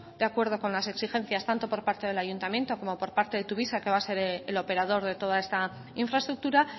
de acuerdo con las exigencias tanto por parte del ayuntamiento como por parte de tuvisa que va a ser el operador de toda esta infraestructura